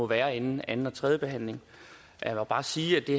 være inden anden og tredje behandling jeg må bare sige at det